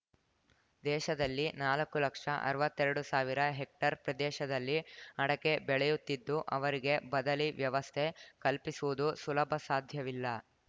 ದೇಶದಲ್ಲಿ ನಾಲಕ್ಕು ಲಕ್ಷ ಅರ್ವತ್ತೆರಡು ಸಾವಿರ ಹೆಕ್ಟೇರ್ ಪ್ರದೇಶದಲ್ಲಿ ಅಡಕೆ ಬೆಳೆಯುತ್ತಿದ್ದು ಅವರಿಗೆ ಬದಲೀ ವ್ಯವಸ್ಥೆ ಕಲ್ಪಿಸುವುದು ಸುಲಭಸಾಧ್ಯವಿಲ್ಲ